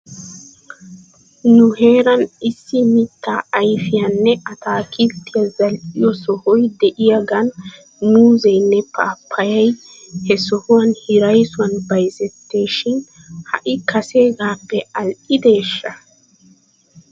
Nu heeran issi mittaa ayfiyaanne atakilttiyaa zal'iyo sohoy de'iyaagan muuzzenne paappayay he sohuwan hiraysuwan bayzettees shin ha'i kaseegaappe al"ideeshsha ?